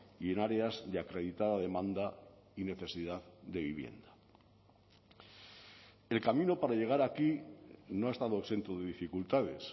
y en áreas de acreditada demanda y necesidad de vivienda el camino para llegar aquí no ha estado exento de dificultades